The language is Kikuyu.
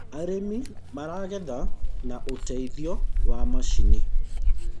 arĩmi maragetha na uteithio wa macinĩ